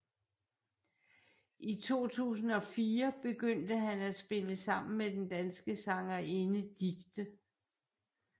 I 2004 begyndte han at spille sammen med den danske sangerinde Dicte